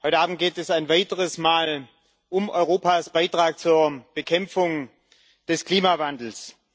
Heute Abend geht es ein weiteres Mal um Europas Beitrag zur Bekämpfung des Klimawandels.